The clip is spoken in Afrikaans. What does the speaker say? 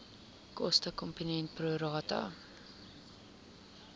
kostekomponent pro rata